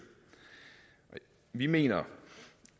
vi mener